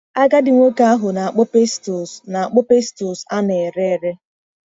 Agadi nwoke ahụ na-akpụ pestles na-akpụ pestles a na-ere ere.